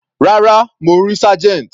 Rárá, mo rí Sergeant.